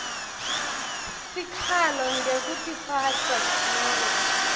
sikhalo ngekutiphatsa nobe